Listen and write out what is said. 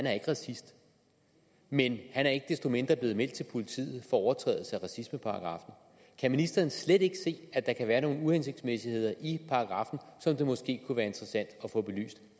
er racist men han er ikke desto mindre blevet meldt til politiet for overtrædelse af racismeparagraffen kan ministeren slet ikke se at der kan være nogle uhensigtsmæssigheder i paragraffen som det måske kunne være interessant at få belyst